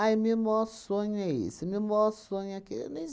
meu maior sonho é esse, meu maior sonho é aquele não